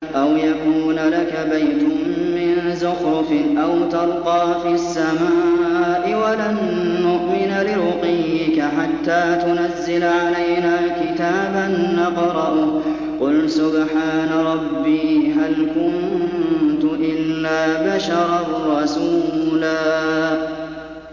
أَوْ يَكُونَ لَكَ بَيْتٌ مِّن زُخْرُفٍ أَوْ تَرْقَىٰ فِي السَّمَاءِ وَلَن نُّؤْمِنَ لِرُقِيِّكَ حَتَّىٰ تُنَزِّلَ عَلَيْنَا كِتَابًا نَّقْرَؤُهُ ۗ قُلْ سُبْحَانَ رَبِّي هَلْ كُنتُ إِلَّا بَشَرًا رَّسُولًا